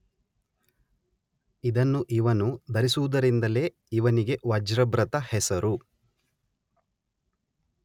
ಇದನ್ನು ಇವನು ಧರಿಸುವುದರಿಂದಲೇ ಇವನಿಗೆ ವಜ್ರಭೃತ್ ಹೆಸರು